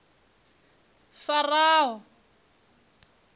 faraho